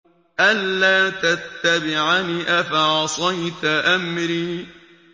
أَلَّا تَتَّبِعَنِ ۖ أَفَعَصَيْتَ أَمْرِي